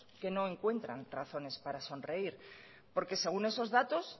que no encuentran razones para sonreír porque según esos datos